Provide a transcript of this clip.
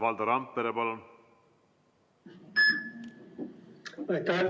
Valdo Randpere, palun!